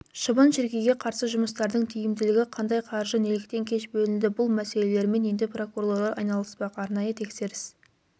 шыбын-шіркейге қарсы жұмыстардың тиімділігі қандай қаржы неліктен кеш бөлінді бұл мәселелермен енді прокурорлар айналыспақ арнайы тексеріс